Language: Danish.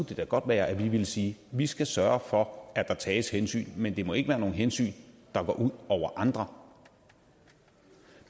det da godt være at vi ville sige vi skal sørge for at der tages hensyn men det må ikke være nogen hensyn der går ud over andre